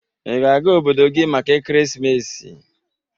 Ị ga-aga obodo gị maka ekeresimesi?